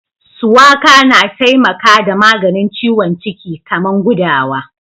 Suwaka na taimaka da maganin ciwon ciki kaman gudawa.